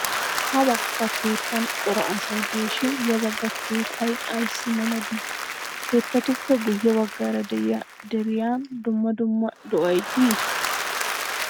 Ha bagga keettan cora asay diishin ya bagga keettay ayissi mela dii? Keettatuppe guye baggaara de''iyaa deriyan dumma dumma do''ay dii?